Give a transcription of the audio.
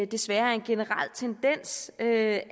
desværre er en generel tendens at